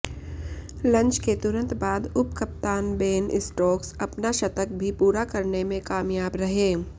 lunch के तुरंत बाद उपकप्तान बेन स्टोक्स अपना शतक भी पूरा करने में कामयाब रहे